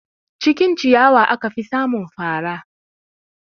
Cikin ciyawa aka fi samun fara